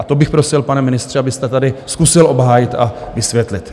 A to bych prosil, pane ministře, abyste tady zkusil obhájit a vysvětlit.